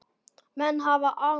Menn hafa vanrækt lægstu hópana.